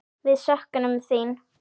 Við söknum þín.